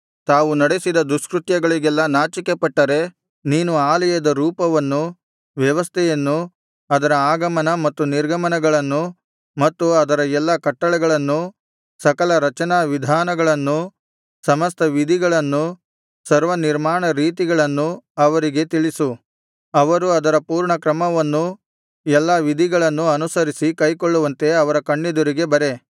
ತಾವು ನಡೆಸಿದ ದುಷ್ಕೃತ್ಯಗಳಿಗೆಲ್ಲಾ ನಾಚಿಕೆಪಟ್ಟರೆ ನೀನು ಆಲಯದ ರೂಪವನ್ನೂ ವ್ಯವಸ್ಥೆಯನ್ನೂ ಅದರ ಆಗಮನ ಮತ್ತು ನಿರ್ಗಮನಗಳನ್ನೂ ಮತ್ತು ಅದರ ಎಲ್ಲಾ ಕಟ್ಟಳೆಗಳನ್ನೂ ಸಕಲ ರಚನಾವಿಧಾನಗಳನ್ನೂ ಸಮಸ್ತ ವಿಧಿಗಳನ್ನೂ ಸರ್ವ ನಿರ್ಮಾಣ ರೀತಿಗಳನ್ನೂ ಅವರಿಗೆ ತಿಳಿಸು ಅವರು ಅದರ ಪೂರ್ಣಕ್ರಮವನ್ನೂ ಎಲ್ಲಾ ವಿಧಿಗಳನ್ನೂ ಅನುಸರಿಸಿ ಕೈಕೊಳ್ಳುವಂತೆ ಅವರ ಕಣ್ಣೆದುರಿಗೆ ಬರೆ